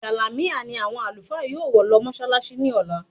Jàlámíà ni àwọn Àlùfáà yóò wọ̀ lọ mọṣálááṣí ní ọ̀la